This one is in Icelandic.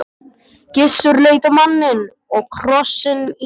Gissur leit á manninn og krossinn í fangi hans.